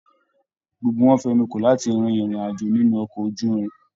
Gbogbo wọn fẹnu kò láti rìn irin-ajo nínú ọkọ ojúrin.